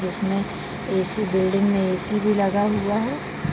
जिसमें AC. Building में AC. भी लगा हुआ है।